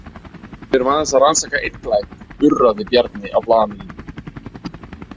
Við erum aðeins að rannsaka einn glæp, urraði Bjarni á blaðamennina.